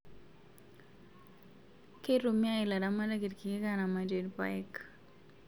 Keitumia ilaramatak irkeek iramatie irpaek